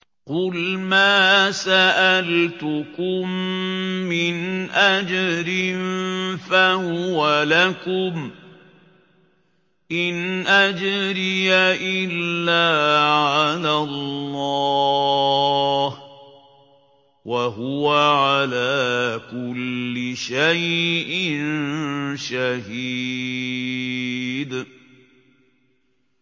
قُلْ مَا سَأَلْتُكُم مِّنْ أَجْرٍ فَهُوَ لَكُمْ ۖ إِنْ أَجْرِيَ إِلَّا عَلَى اللَّهِ ۖ وَهُوَ عَلَىٰ كُلِّ شَيْءٍ شَهِيدٌ